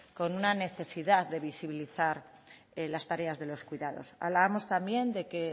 con una necesidad de visibilizar las tareas de los cuidados hablábamos también de que